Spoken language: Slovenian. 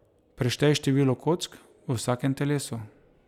Preštej število kock v vsakem telesu.